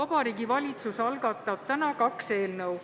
Vabariigi Valitsus algatab täna kaks eelnõu.